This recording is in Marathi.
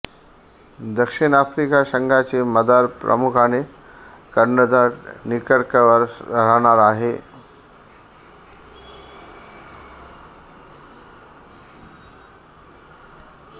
दक्षिण आफ्रिका संघाची मदार प्रामुख्याने कर्णधार निकर्कवर राहणार आहे